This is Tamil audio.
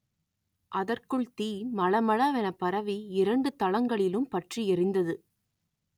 அதற்குள் தீ மளமள வென பரவி இரண்டு தளங்களிலும் பற்றி எரிந்தது